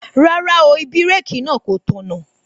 Rárá o, ibẹ̀rẹ̀kì náà kò tọ̀nà